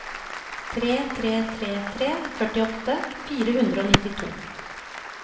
tre tre tre tre førtiåtte fire hundre og nittito